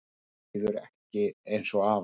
Mér líður ekki eins og afa